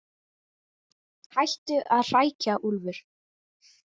Hættu að hrækja, Úlfur.